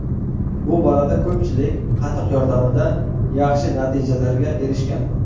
Bu borada ko‘pchilik, qatiq yordamida yaxshi natijalarga erishgan.